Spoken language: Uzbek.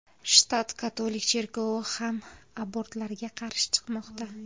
Shtat katolik cherkovi ham abortlarga qarshi chiqmoqda.